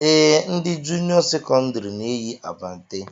Ee, ndị junịọ sekọndịrị na-eyi abante